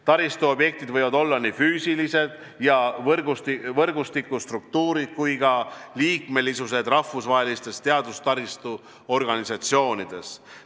Taristu objektid võivad olla nii füüsilised ja võrgustikstruktuurid kui ka liikmesused rahvusvahelistes teadustaristu organisatsioonides.